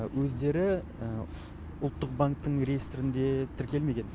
өздері ұлттық банктің реестірінде тіркелмеген